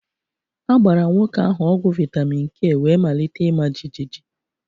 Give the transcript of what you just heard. A gbara nwoke ahụ ọgwụ vitamin k wee malite ịma jijiji